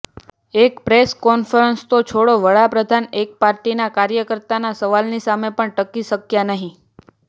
એક press conference તો છોડો વડાપ્રધાન એક પાર્ટીના કાર્યકર્તાના સવાલની સામે પણ ટકી શક્યા નહીં